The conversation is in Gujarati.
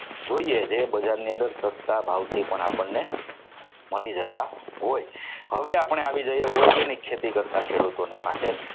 જોઈએ છે. બજારની અંદર સસ્તા ભાવથી પણ આપણને મળી જતા હોય હવે આપણે આવી જઈએ વર્ગોની ખેતી કરતા ખેડૂતોની પાસે